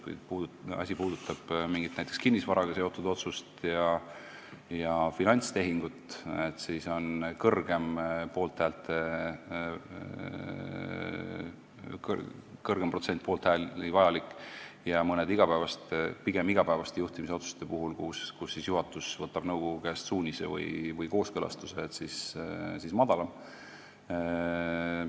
Kui asi puudutab näiteks mingit kinnisvaraga seotud otsust ja finantstehingut, siis on vaja suuremat protsenti poolthääli, aga mõnede pigem igapäevaste juhtimisotsuste puhul, kus juhatus võtab nõukogu käest suunise või kooskõlastuse, on poolthääli vaja vähem.